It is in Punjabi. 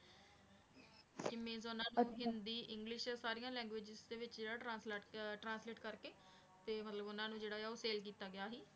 ਕਿ ਮੀਨਸ ਉਹਨਾਂ ਦਾ ਹਿੰਦੀ english ਸਾਰੀਆਂ languages ਦੇ ਵਿੱਚ ਜਿਹੜਾ translate ਅਹ translate ਕਰਕੇ ਤੇ ਮਤਲਬ ਉਹਨਾਂ ਨੂੰ ਜਿਹੜਾ ਆ ਉਹ ਤੇ ਕੀਤਾ ਗਿਆ ਸੀ।